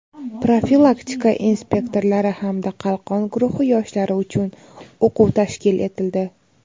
profilaktika inspektorlari hamda "Qalqon" guruhi yoshlari uchun o‘quv tashkil etildi.